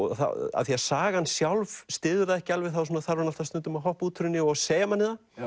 af því að sagan sjálf styður það ekki alveg þarf hann stundum að hoppa út úr henni og segja manni það